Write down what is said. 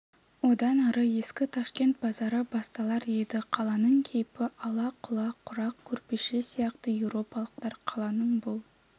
одан ары ескі ташкент базары басталар еді қаланың кейпі ала-құла құрақ көрпеше сияқты еуропалықтар қаланың бұл